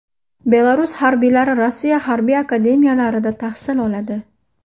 Belarus harbiylari Rossiya harbiy akademiyalarida tahsil oladi.